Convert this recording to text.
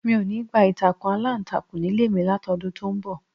Mi ò ní gba ìtàkùn aláǹtakùn nílé mi látọdún tó ń bọ̀.